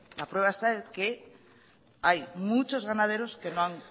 la prueba está en que hay muchos ganaderos que no han